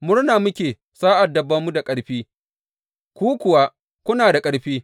Murna muke sa’ad da ba mu da ƙarfi, ku kuwa kuna da ƙarfi.